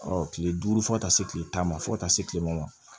kile duuru fo ka taa se kile tan ma fɔ ka taa se kile ma